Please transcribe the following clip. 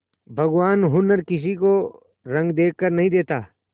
भगवान हुनर किसी को रंग देखकर नहीं देता